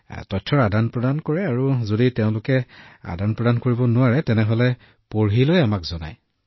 আমি নথিপত্ৰও স্থানান্তৰ কৰোঁ আৰু যদি তেওঁলোকে স্থানান্তৰ কৰিবলৈ অক্ষম হয় তেওঁলোকে পঢ়ি শুনায় আৰু আমাক কয়